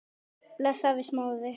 Bless afi Smári.